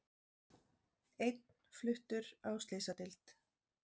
Einn fluttur á slysadeild